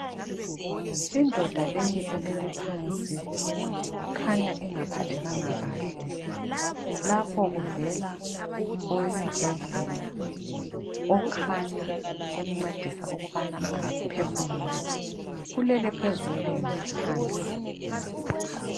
Indoda leyi elele phansi kukhanya ingaphathekanga kahle lapho kuvela owesibhedlela okhanya emncedisa ukubana aphefumule, ulele phezu kwelembu phansi.